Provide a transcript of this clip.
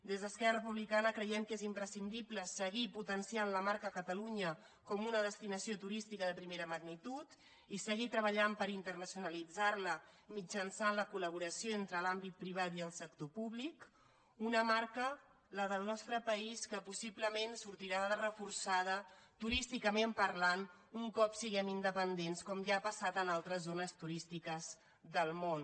des d’esquerra republicana creiem que és imprescindible seguir potenciant la marca catalunya com una destinació turística de primera magnitud i seguir treballant per internacionalitzarla mitjançant la colentre l’àmbit privat i el sector públic una marca la del nostre país que possiblement sortirà reforçada turísticament parlant un cop siguem independents com ja ha passat en altres zones turístiques del món